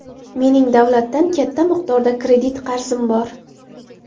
Mening davlatdan katta miqdorda kredit qarzim bor.